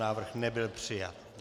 Návrh nebyl přijat.